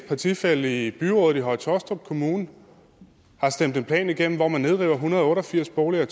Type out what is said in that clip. partifælle i byrådet i høje taastrup kommune har stemt en plan igennem hvor man nedriver en hundrede og otte og firs boliger i